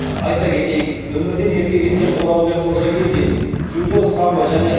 айта кетейік өмірден ерте кеткен оралбек қожагелдин дзюдо самбо және